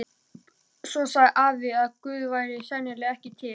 Svo sagði afi að Guð væri sennilega ekki til.